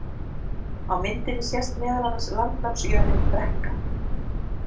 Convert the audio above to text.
Á myndinni sést meðal annars landnámsjörðin Brekka.